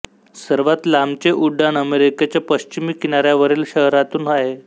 सर्वात लांबचे उड्डाण अमेरिकेच्या पश्चिमी किनाऱ्यावरील शहरांतून आहे